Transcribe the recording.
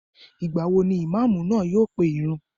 Ìgbà wo ni Ìmáàmù náà yóò pe ìrun?